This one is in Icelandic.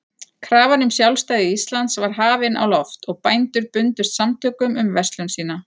Krafan um sjálfstæði Íslands var hafin á loft, og bændur bundust samtökum um verslun sína.